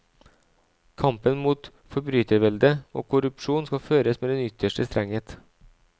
Kampen mot forbryterveldet og korrupsjonen skal føres med den ytterste strenghet.